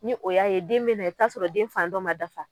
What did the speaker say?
Ni o y'a ye den be na i b'i taa sɔrɔ den fan dɔ ma dafa.